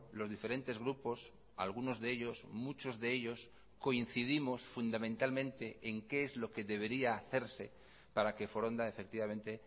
los diferentes grupos algunos de ellos muchos de ellos coincidimos fundamentalmente en qué es lo que debería hacerse para que foronda efectivamente